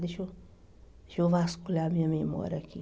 Deixa deixa eu vasculhar a minha memória aqui.